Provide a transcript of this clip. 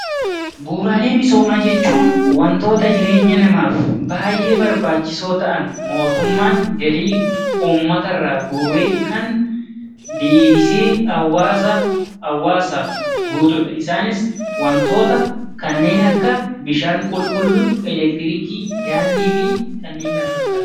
Bu'uuraalee misoomaa jechuun wantoota jireenya namaaf baayyee barbaachisoo ta'an mootummaan galii uummatarraa guuree kan kan feshii hawaasaa hawaasaaf guutuudha isaanis, wantoota kanneen akka bishaan qulqulluu, elektirikii, daandii fi kanneen kana fakkaataniidha.